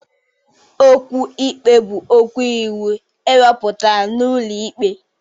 Okwu ikpe bụ okwu iwu ewepụtara n'ụlọ ikpe.